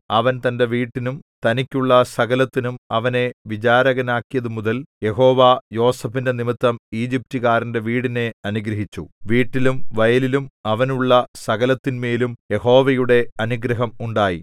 അവൻ തന്റെ വീട്ടിനും തനിക്കുള്ള സകലത്തിനും അവനെ വിചാരകനാക്കിയതുമുതൽ യഹോവ യോസേഫിന്റെ നിമിത്തം ഈജിപ്റ്റുകാരന്റെ വീടിനെ അനുഗ്രഹിച്ചു വീട്ടിലും വയലിലും അവനുള്ള സകലത്തിന്മേലും യഹോവയുടെ അനുഗ്രഹം ഉണ്ടായി